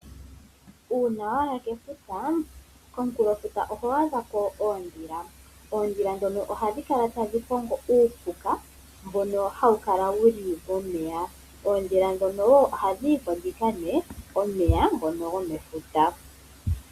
Uuna waya kefuta, komunkulo futa oho adha ko oondhila. Oondhila ndhono ohadhi kala tadhi kongo uupuka mbono hawu kala wuli momeya. Oondhila ndhono ohadhi yiko dhika nwe omeya ngono gomefuta.